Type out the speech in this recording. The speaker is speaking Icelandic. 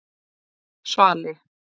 Svali